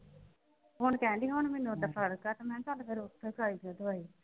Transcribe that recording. ਹੁਣ ਕਹਿਣ ਡਈ ਹੁਣ ਮੈਨੂੰ ਓਦਾਂ ਫ਼ਰਕ ਆ ਤੇ ਮੈਂ ਕਿਹਾ ਚੱਲ ਫਿਰ ਉਥੋਂ ਖਾਈ ਜਾਈਂ ਦਵਾਈ।